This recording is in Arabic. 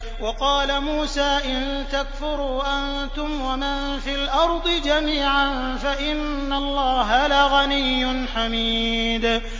وَقَالَ مُوسَىٰ إِن تَكْفُرُوا أَنتُمْ وَمَن فِي الْأَرْضِ جَمِيعًا فَإِنَّ اللَّهَ لَغَنِيٌّ حَمِيدٌ